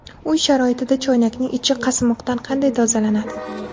Uy sharoitida choynakning ichi qasmoqdan qanday tozalanadi?.